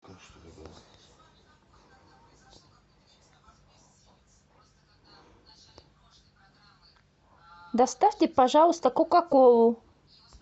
доставьте пожалуйста кока колу